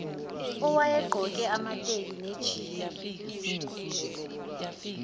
owayegqoke amateki nejini